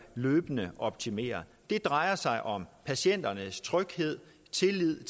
løbende optimeret det drejer sig om patienternes tryghed og tillid i